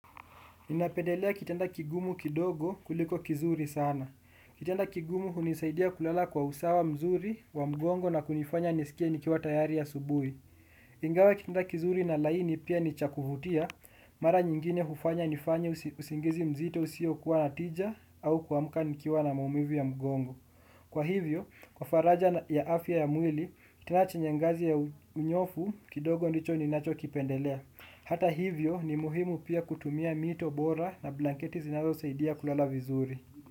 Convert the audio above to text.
Ninapedelea kitanda kigumu kidogo kuliko kizuri sana. Kitanda kigumu hunisaidia kulala kwa usawa mzuri wa mgongo na kunifanya nisikie nikiwa tayari asubuhi. Ingawa kitanda kizuri na laini pia nicha kuvutia, mara nyingine hufanya nifanye usingizi mzito usio kuwa natija au kuamka nikiwa na maumivu ya mgongo. Kwa hivyo, kwa faraja ya afya ya mwili, kitandana chenye ngazi ya unyofu kidogo ndicho ninacho kipendelea. Hata hivyo ni muhimu pia kutumia mito bora na blanketi zinazo saidia kulala vizuri.